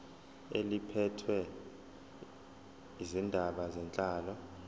eliphethe izindaba zenhlalo